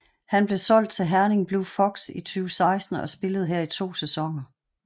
Han blev solgt til Herning Blue Fox i 2016 og spillede her i to sæsoner